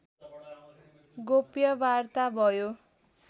गोप्य वार्ता भयो